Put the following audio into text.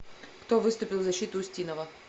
кто выступил в защиту устинова